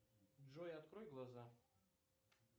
джой открой глаза